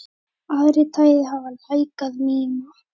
Aðrir þættir hafa lækkað minna.